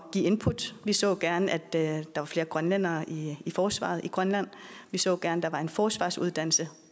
give input vi så gerne at der var flere grønlændere i forsvaret i grønland og vi så gerne at der var en forsvarsuddannelse